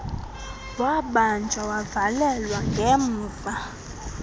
wabanjwa wavalelwa ngemva